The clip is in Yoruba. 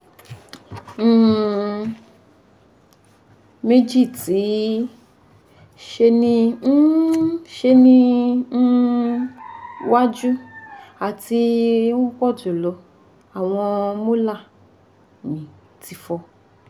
um meji ti se ni um se ni um waju ati upojulo awon molar mi ti fo